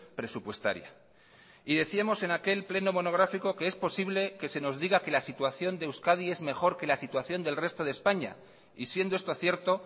presupuestaria y decíamos en aquel pleno monográfico que es posible que se nos diga que la situación de euskadi es mejor que la situación del resto de españa y siendo esto cierto